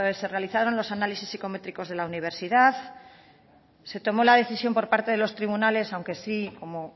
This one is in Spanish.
se realizaron los análisis psicométricos de la universidad se tomó la decisión por parte de los tribunales aunque sí como